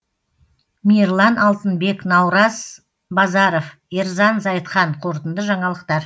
мейірлан алтынбек наураз базаров ерзан зайытхан қорытынды жаңалықтар